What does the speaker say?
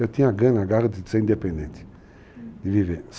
Eu tinha a gana, a garra de ser independente, de viver.